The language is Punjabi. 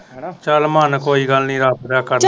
ਚੱਲ ਮਨ ਕੋਈ ਗੱਲ ਨੀ ਰੱਬ